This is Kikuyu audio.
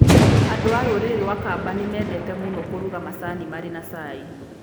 Andũ a rũrĩrĩ rwa Kamba nĩ mendete mũno kũruga macani marĩ na cai.